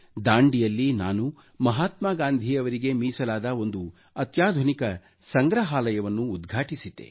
ದಾಂಡಿಯಲ್ಲಿ ನಾನು ಮಹಾತ್ಮಾ ಗಾಂಧೀ ಅವರಿಗೆ ಮೀಸಲಾದ ಒಂದು ಅತ್ಯಾಧುನಿಕ ಸಂಗ್ರಹಾಲಯವನ್ನು ಉದ್ಘಾಟಿಸಿದ್ದೆ